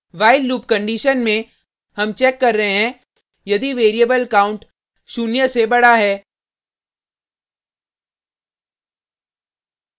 while loop condition में हम check कर रहे हैं यदि वेरिएबल count शून्य से बडा है